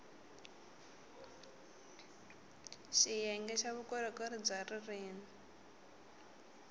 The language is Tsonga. xiyenge xa vukorhokeri bya ririrmi